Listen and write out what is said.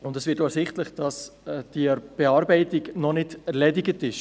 Es wird auch ersichtlich, dass die Bearbeitung noch nicht abgeschlossen ist.